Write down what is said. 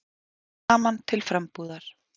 Saman til frambúðar.